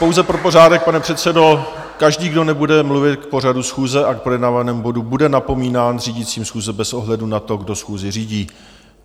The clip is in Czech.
Pouze pro pořádek, pane předsedo, každý, kdo nebude mluvit k pořadu schůze a k projednávanému bodu, bude napomínán řídícím schůze bez ohledu na to, kdo schůzi řídí.